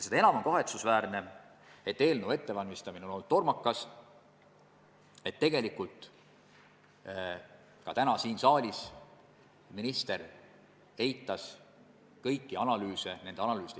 Seda enam on kahetsusväärne, et eelnõu ettevalmistamine on olnud tormakas ja et minister tegelikult ka täna siin saalis ignoreeris kõiki analüüse, nende järeldusi.